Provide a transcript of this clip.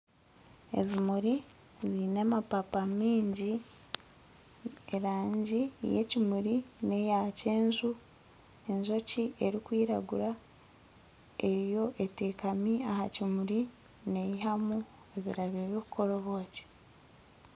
Ebimuri baine amapaapa maingi eraagi yekimuri neyakyenju enjoki erikwiraguura eteekami aha kimuri neyihamu oburabyo bwokukora obwoki